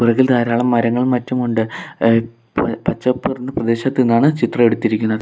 ഇതിൽ ധാരാളം മരങ്ങളും മറ്റും ഉണ്ട് എഹ് പച്ചപ്പ് നിറഞ്ഞ പ്രദേശത്തു നിന്നാണ് ചിത്രം എടുത്തിരിക്കുന്നത്.